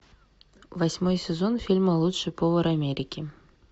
восьмой сезон фильма лучший повар америки